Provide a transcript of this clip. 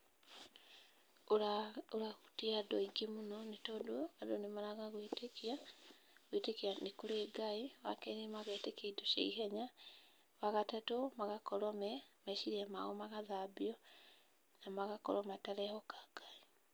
Ũrahutia andũ aingĩ mũno, nĩ tondũ andũ nĩ maraga gwĩtĩkia nĩ kũrĩ Ngai. Wa kerĩ, magetĩkia indo cia ihenya. Wa gatatũ, magakorwo meciria mao magathambio na magakorwo matarehoka Ngai.